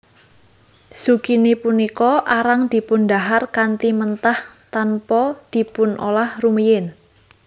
Zukini punika arang dipundhahar kanthi mentah tanpa dipunolah rumiyin